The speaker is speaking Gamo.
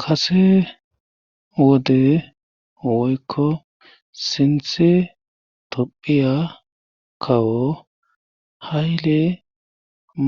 Kase wode woykko sinthe tophiya kawo hayle